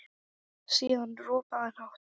Síðan ropaði hann hátt.